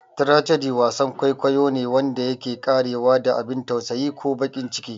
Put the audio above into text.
"Tragedy" Wasan kwaikwayo ne wanda yake ƙarewa da abin tausayi ko baƙin ciki.